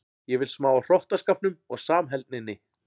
Ég vil smá af hrottaskapnum og samheldninni.